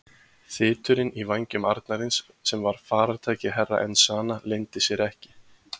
Þyturinn í vænjum arnarins sem var farartæki Herra Enzana leyndi sér ekki.